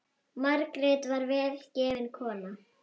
Margrét var vel gefin kona.